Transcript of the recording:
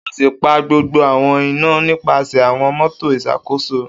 O si pa gbogbo awọn ina nipasẹ awọn motor Iṣakoso